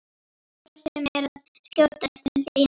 Ætlaði hvort sem er að skjótast til þín.